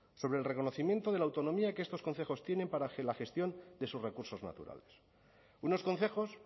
sobre el reconocimiento de la autonomía que estos concejos tienen para la gestión de sus recursos naturales unos concejos